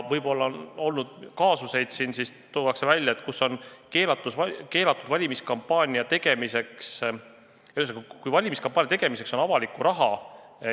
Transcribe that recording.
On olnud kaasusi, kus on rikutud valimiskampaania reegleid, valimiskampaania tegemiseks on nagu kasutatud avalikku raha.